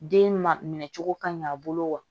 Den ma minɛ cogo ka ɲi a bolo wa